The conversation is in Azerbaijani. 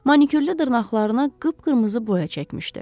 Manikürlü dırnaqlarına qıpqırmızı boya çəkmişdi.